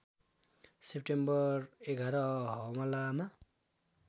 September ११ हमलामा